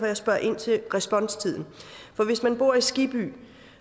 jeg spørger ind til responstiden for hvis man bor i skibby